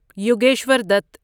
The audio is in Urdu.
یوگیشور دت